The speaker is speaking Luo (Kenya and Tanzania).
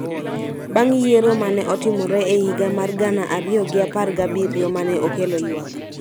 bang� yiero ma ne otimore e higa mar gana ariyo gi apar gabiriyo ma ne okelo ywak.